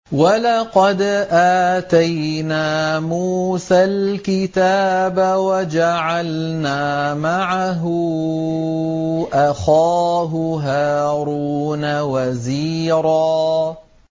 وَلَقَدْ آتَيْنَا مُوسَى الْكِتَابَ وَجَعَلْنَا مَعَهُ أَخَاهُ هَارُونَ وَزِيرًا